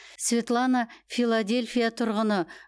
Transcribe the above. светлана филадельфия тұрғыны